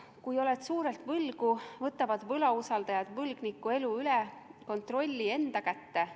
Kui oled suurelt võlgu, võtavad võlausaldajad kontrolli võlgniku elu üle enda kätte.